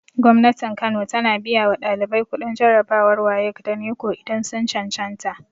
Gwamnatin kano tana biya wa ɗalibai kuɗin jarabawar wayek da neko idan sun cancanta